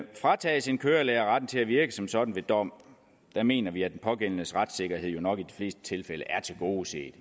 fratages en kørelærer retten til at virke som sådan ved dom mener vi at den pågældendes retssikkerhed jo nok i de fleste tilfælde er tilgodeset i